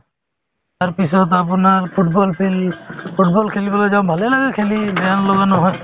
তাৰ পিছত আপোনাৰ football field football খেলিবলৈ যাও ভালে লাগে খেলি